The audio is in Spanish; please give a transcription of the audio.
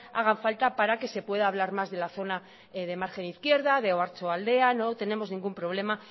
hagan falta para que se pueda hablar más de la zona de margen izquierda de oiartzualdea no tenemos ningún problema